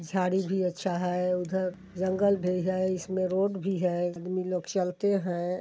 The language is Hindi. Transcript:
झाड़ी भी अच्छा है उधर जंगल भी है इसमे रोड भी है आदमी लोग चलते है।